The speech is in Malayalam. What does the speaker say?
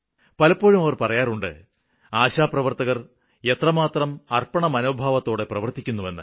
പലപ്പോഴും അവര് പറയാറുണ്ട് ആശാപ്രവര്ത്തകര് എത്രമാത്രം അര്പ്പണമനോഭാവത്തോടെ പ്രവര്ത്തിക്കുന്നുവെന്ന്